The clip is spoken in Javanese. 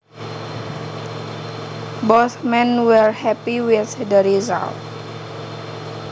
Both men were happy with the results